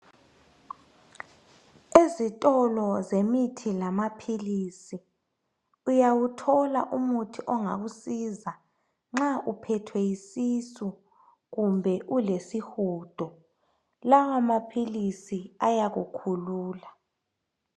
Ezitolo zemithi lamaphilisi. Uyawuthola umuthi ongakusiza. Nxa uphethwe yisisu. Kumbe ulesihudo. Lawamaphilisi, ayakukhulula.